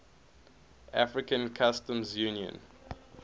african customs union